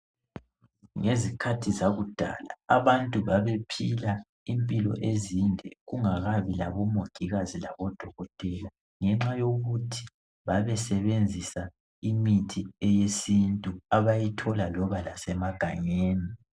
Ngezikhathi zakudala, abantu babephila impilo ezinde kungakabi labomongikazi labodokotela, ngenxa yokuthi babesebenzisa imithi yesintu abayithola loba lasemagangeni.